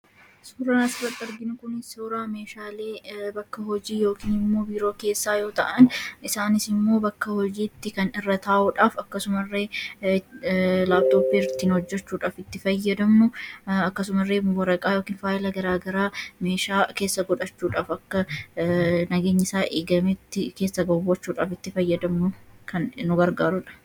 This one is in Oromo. Suuraan asirratti arginu kun suuraa meeshaalee bakka hojii yookiin immoo biiroo keessaa yoo ta'an isaanis immoo bakka hojiitti kan irra taa'uudhaaf akkasumallee laaptooppii ittiin hojjachuudhaaf itti fayyadamnu akkasumallee waraqaa yookiin faayila garaagaraa meeshaa keessa godhachuudhaaf akka nageenyisaa eegametti keessa gochuudhaaf kan nu gargaarudha.